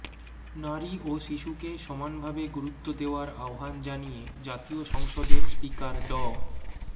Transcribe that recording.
নারী ও শিশুকে সমানভাবে গুরুত্ব দেওয়ার আহ্বান জানিয়ে জাতীয় সংসদের স্পিকার ড